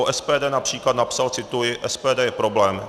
O SPD například napsal - cituji: SPD je problém.